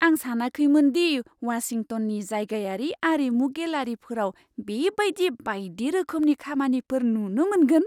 आं सानाखैमोन दि वाशिंटननि जायगायारि आरिमु गेलारिफोराव बेबायदि बायदि रोखोमनि खामानिफोर नुनो मोनगोन!